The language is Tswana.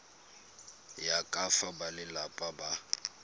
ya ka fa balelapa ba